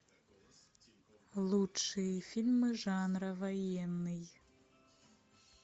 лучшие фильмы жанра военный